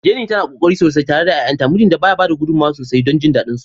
Jenny tana ƙoƙari sosai tare da 'ya'yanta, mijinta ba ya bada gudummawa sosai don jin dadin su.